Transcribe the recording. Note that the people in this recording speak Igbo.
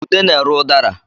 Ude na-ere ụdara